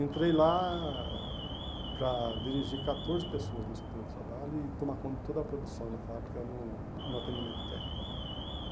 Entrei lá para dirigir catorze pessoas no setor de trabalho e tomar conta de toda a produção na fábrica no no atendimento técnico né.